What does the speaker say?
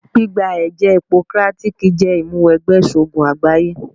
Gbígba ẹ̀jẹ́ Hipokrátíkí jẹ́ ìmúwẹgbẹ́ ìṣògùn àgbáyé.